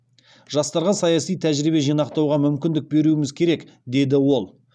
жастарға саяси тәжірибе жинақтауға мүмкіндік беруіміз керек деді ол